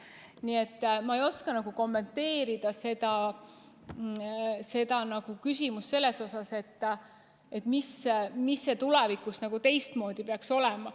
Nii et ma ei oska kommenteerida seda küsimust selles suhtes, mis tulevikus teistmoodi peaks olema.